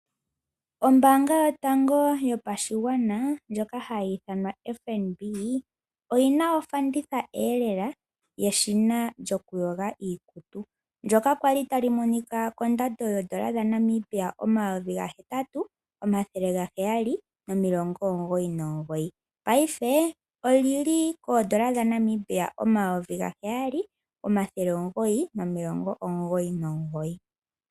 Ombaanga yotango yopashigwana ndjoka hayi ithanwa FNB oyina ofandithaelela yeshina lyokuypga iikutu. Ndjoka kwali tali monika kondando yoondola dhaNamibia omayovi gahetatu omathele gaheyali nomilongo omugoyi nomugoyi, paife olili poondola dhaNamibia omathele gaheyali nomilongo omugoyi nomugoyi.